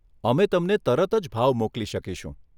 અમે તમને તરત જ ભાવ મોકલી શકીશું.